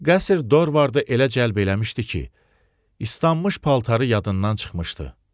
Qəsr Dorvardı elə cəlb eləmişdi ki, istanmış paltarı yadından çıxmışdı.